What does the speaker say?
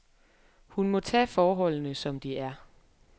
Hun må tage forholdene, som de er.